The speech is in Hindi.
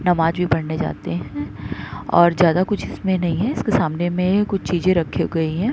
नमाज़ भी पढ़ने जाते हैं और ज्यादा कुछ इसमें नहीं है। इसके सामने में ये कुछ चीज़ें रखे गयी हैं।